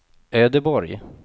Ödeborg